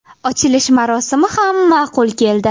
Ochilish marosimi ham ma’qul keldi.